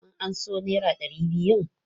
Kun amso naira ɗari biyun?